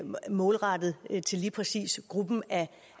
målrettet lige præcis gruppen af